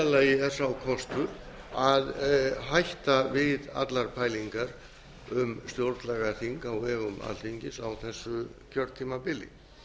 lagi er sá kostur að hætta við allar pælingar um stjórnlagaþing á vegum alþingis á þessu kjörtímabili